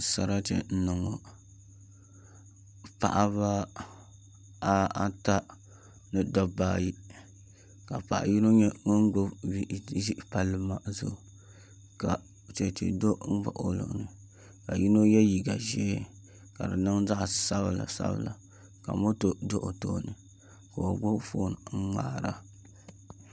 Sarati n niŋ ŋo paɣaba ata ni dabba ayi ka paɣa yino nyɛ ŋun gbubi bia ʒi palli maa zuɣu ka chɛchɛ do n baɣa o luɣuli ni ka yino yɛ liiga ʒiɛ ka di niŋ zaɣ sabila sabila ka moto do o tooni ka o gbubi foon n ŋmaara